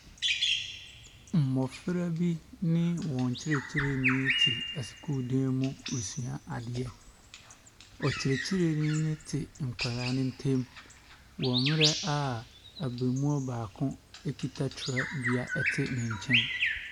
Mmɔfra bi ne wɔn kyerɛkyerɛni te sukuudan mu resua adeɛ. Ckyerɛkyerɛni no te nkwadaa no ntam wɔ mmerɛ a abarimaa baako kita twerɛdua te ne nkyɛn.